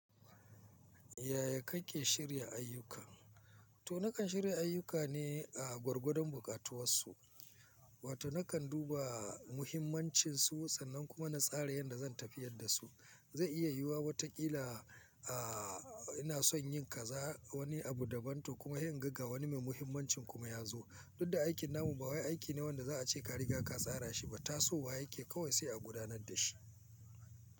Yaya kake shirya ayyuka? To nakan shirya ayyuka ne a gwargwadon buƙatuwar su, wato nakan duba muhimmancin su sannan kuma na tsara yanda zan tafiyar da su. Zai iya yiwuwa wataƙila, a ina son yin kaza wani abu da ban to kuma se inga wani mai muhimmanci kuma ya zo. Tudda aikin namu ba wai aiki ne wanda za a ce ka riga ka tsara shi ba. Ta so wa yake kawai sai a gudanar da shi.